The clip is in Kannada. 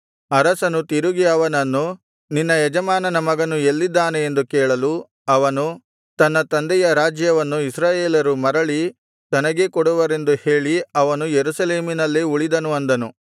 ಅರಸನು ತಿರುಗಿ ಅವನನ್ನು ನಿನ್ನ ಯಜಮಾನನ ಮಗನು ಎಲ್ಲಿದ್ದಾನೆ ಎಂದು ಕೇಳಲು ಅವನು ತನ್ನ ತಂದೆಯ ರಾಜ್ಯವನ್ನು ಇಸ್ರಾಯೇಲರು ಮರಳಿ ತನಗೇ ಕೊಡುವರೆಂದು ಹೇಳಿ ಅವನು ಯೆರೂಸಲೇಮಿನಲ್ಲೇ ಉಳಿದನು ಅಂದನು